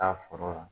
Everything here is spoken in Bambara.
Taa foro la